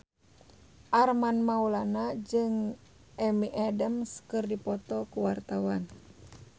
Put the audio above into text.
Armand Maulana jeung Amy Adams keur dipoto ku wartawan